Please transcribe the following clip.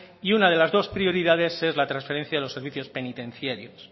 y una de las dos prioridades es la transferencia de los servicios penitenciarios